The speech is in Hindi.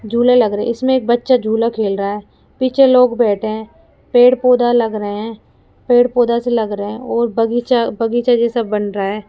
झूले लग रहे हैं इसमें एक बच्चा झूला खेल रहा है पीछे लोग बैठे हैं पेड़-पौधा लग रहे हैं पेड़-पौधा सा लग रहा है और बगीचा-बगीचा जैसा बन रहा है।